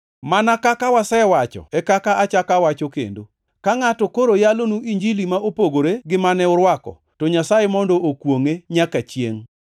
Mana kaka wasewacho e kaka achako awacho kendo: Ka ngʼato koro yalonu Injili ma opogore gi mane urwako, to Nyasaye mondo okwongʼe nyaka chiengʼ!